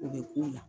O bɛ k'o la